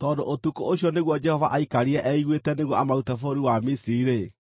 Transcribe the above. Tondũ ũtukũ ũcio nĩguo Jehova aikarire eiguĩte nĩguo amarute bũrũri wa Misiri-rĩ, na